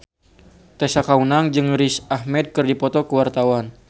Tessa Kaunang jeung Riz Ahmed keur dipoto ku wartawan